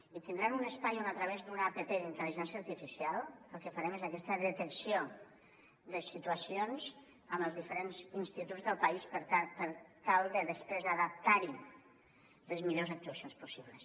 i tindran un espai on a través d’una app d’intel·ligència artificial el que farem és aquesta detecció de situacions en els diferents instituts del país per tal de després adaptar hi les millors actuacions possibles